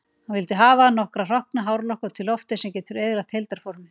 Hann vill hafa nokkra hrokkna hárlokka út í loftið, sem getur eyðilagt heildarformið.